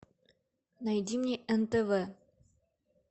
найди мне нтв